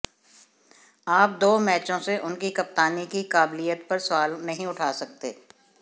आप दो मैचों से उनकी कप्तानी की काबिलियत पर सवाल नहीं उठा सकते